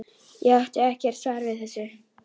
Ég átti ekkert svar við þessu.